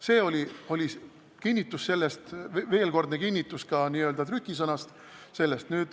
See oli veelkordne kinnitus selle kohta ka trükisõnas.